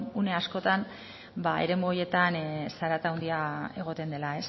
une askotan eremu horietan zarata handia egoten dela